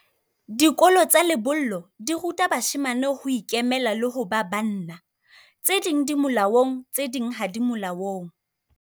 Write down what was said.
Dikolo tsa lebollo di ruta bashemane ho ikemela le ho ba banna. Tse ding di molaong, tse ding ha di molaong.